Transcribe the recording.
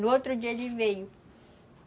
No outro dia, ele veio.